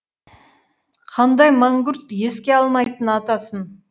қандай мәңгүрт еске алмайтын атасын